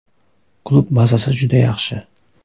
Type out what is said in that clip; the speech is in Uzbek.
Klub bazasi juda yaxshi.